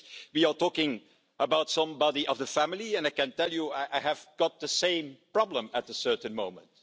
We are talking about somebody of the family, and I can tell you that I had the same problem at a certain moment.